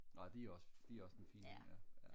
nå de er også de er også en fin hund ja